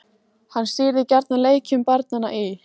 Hann stýrði gjarnan leikjum barnanna í